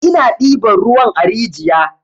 Ina ɗiban ruwan a rijiya.